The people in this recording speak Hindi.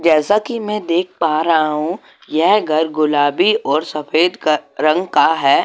जैसा कि मैं देख पा रहा हूं यह घर गुलाबी और सफेद रंग का है।